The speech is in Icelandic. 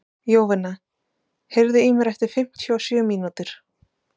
Jovina, heyrðu í mér eftir fimmtíu og sjö mínútur.